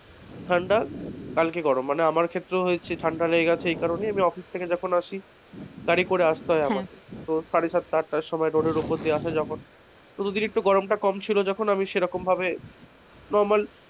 normal ঠান্ডা কালকে গরম মানে আমার ক্ষেত্রেও হয়েছে ঠান্ডা লেগেছে এই কারণে অফিস থেকে যখন আসি গাড়ি করে আসতে হয় আমাকে। তো সাড়ে সাতটা আটটার সময় road উপর আসা যাওয়া করতে হয়। তো গরমটা যখন কম ছিল তবে তখন আমি সেরকম ভাবে,